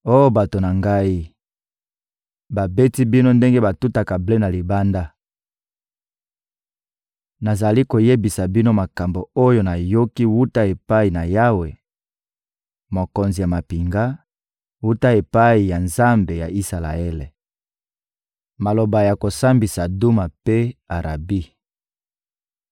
Oh bato na ngai, babeti bino ndenge batutaka ble na libanda! Nazali koyebisa bino makambo oyo nayokaki wuta epai na Yawe, Mokonzi ya mampinga, wuta epai ya Nzambe ya Isalaele. Maloba ya kosambisa Duma mpe Arabi